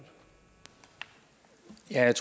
er